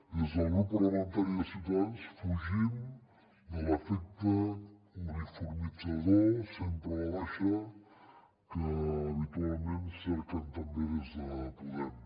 des del grup parlamentari de ciutadans fugim de l’efecte uniformitzador sempre a la baixa que habitualment cerquen també des de podem